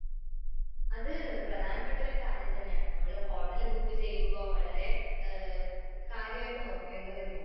അത് പ്രധാന പെട്ടൊരു കാര്യം തന്നെയാണ്.നമ്മള് ഹോട്ടൽ ബുക്ക് ചെയ്യുമ്പോൾ വളരെ കാര്യായിട്ട് നോക്കേണ്ടത് തന്നെയാണ്.